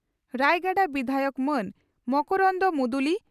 ᱨᱟᱭᱜᱟᱰᱟ ᱵᱤᱫᱷᱟᱭᱚᱠ ᱢᱟᱹᱱ ᱢᱚᱠᱚᱨᱚᱱᱫᱚ ᱢᱩᱫᱩᱞᱤ